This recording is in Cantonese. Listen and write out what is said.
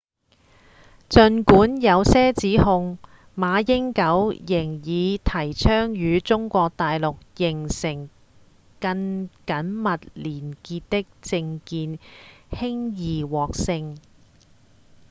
儘管有這些指控馬英九仍以提倡與中國大陸形成更緊密連結的政見輕易獲勝